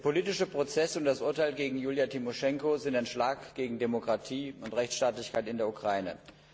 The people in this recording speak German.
Der politische Prozess und das Urteil gegen Julija Tymoschenko sind ein Schlag gegen Demokratie und Rechtsstaatlichkeit in der Ukraine.